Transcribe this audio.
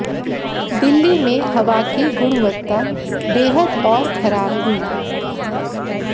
दिल्ली में हवा की गुणवत्ता बेहद और खराब हुई